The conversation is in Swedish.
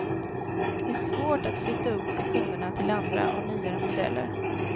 Det är svårt att flytta upp de kunderna till andra och nyare modeller.